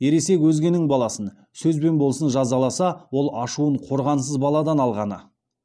ересек өзгенің баласын сөзбен болсын жазаласа ол ашуын қорғансыз баладан алғаны